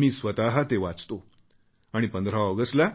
मी स्वत ते वाचतो आणि 15 ऑगस्टला